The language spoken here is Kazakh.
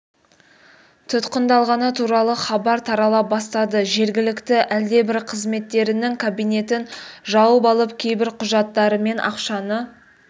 тұтқындалғаны туралы хабар тарала бастады жергілікті әлдебір қызметкерінің кабинетін жауып алып кейбір құжаттар мен ақшаны